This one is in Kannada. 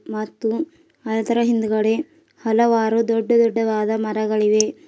ಮತ್ತು ಅದರ ಹಿಂದ್ಗಡೆ ಹಲವಾರು ದೊಡ್ಡ ದೊಡ್ಡವಾದ ಮರಗಳಿವೆ.